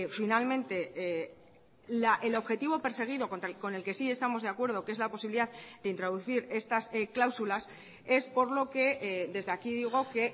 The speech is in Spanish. finalmente el objetivo perseguido con el que sí estamos de acuerdo que es la posibilidad de introducir estas cláusulas es por lo que desde aquí digo que